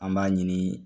An b'a ɲini